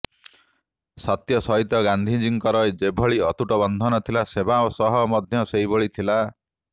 ସତ୍ୟ ସହିତ ଗାନ୍ଧିଜୀଙ୍କର ଯେଭଳି ଅତୁଟ ବନ୍ଧନ ଥିଲା ସେବା ସହ ମଧ୍ୟ ସେଭଳି ଥିଲା